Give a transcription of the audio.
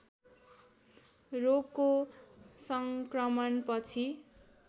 रोगको सङ्क्रमण पछि